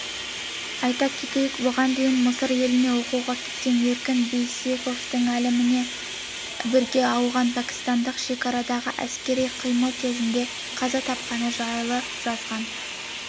айта кетейік бұған дейін мысыр еліне оқуға кеткен еркін бексейітовтің әйелімен бірге ауған-пәкістандық шекарадағы әскери іс-қимыл кезінде қаза тапқаны жайлы жазған